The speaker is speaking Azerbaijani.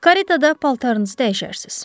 Karitada paltarınızı dəyişərsiz.